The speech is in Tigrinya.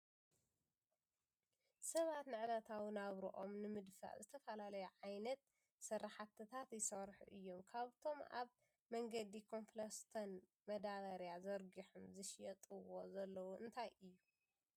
ሰባት ንዕለታዊ ናብርኦም ንምድፋእ ዝተፈላለዩ ዓይነት ስራሕትታት ይሰርሑ እዮም ካብኣቶም ኣብ መንገዲ ኮብልስቶን ማዳበርያ ዘርጊሖም ዝሸጥዎ ዘለዉ እንታይ እዩ ?